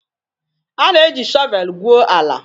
A na-eji shọvel gwuo ala.